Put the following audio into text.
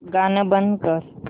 गाणं बंद कर